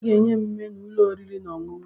Ị ga-enye m menu ụlọ oriri na ọṅụṅụ a!